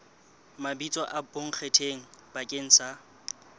mabitso a bonkgetheng bakeng sa